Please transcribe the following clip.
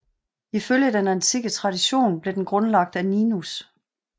Ifølge den antikke tradition blev den grundlagt af Ninus